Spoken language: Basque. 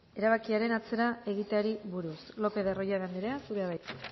erabakiaren atzera egiteari buruz lopez de arroyabe anderea zurea da hitza